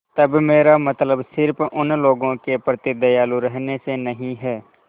तब मेरा मतलब सिर्फ़ उन लोगों के प्रति दयालु रहने से नहीं है